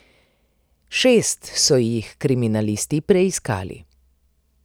Šest so jih kriminalisti preiskali.